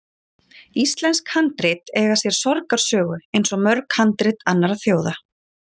Íslensk handrit eiga sér sorgarsögu, eins og mörg handrit annarra þjóða.